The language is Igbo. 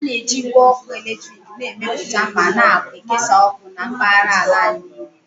A na-eji igwe ọkụ eletrik na-emepụta ma na-ekesa ọkụ na mpaghara ala anyị niile